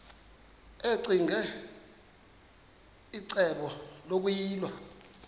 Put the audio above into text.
ccinge icebo lokuyilwa